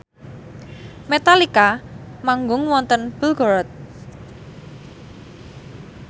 Metallica manggung wonten Belgorod